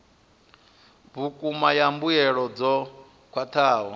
vhukuma ya mbuelo dzo khwathaho